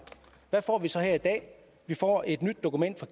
hvad får vi så her i dag vi får et nyt dokument